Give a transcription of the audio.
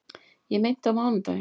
Ég meinti á mánudaginn.